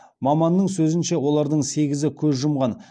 маманның сөзінше олардың сегізі көз жұмған